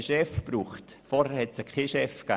Vorher gab es keinen Chef.